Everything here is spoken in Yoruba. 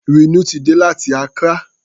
Rínú ti dé láti Accra.